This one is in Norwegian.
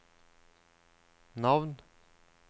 navn